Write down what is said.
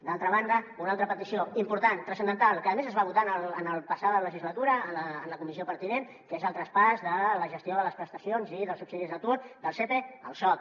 d’altra banda una altra petició important transcendental que a més es va votar en la passada legislatura en la comissió pertinent que és el traspàs de la gestió de les prestacions i dels subsidis d’atur del sepe al soc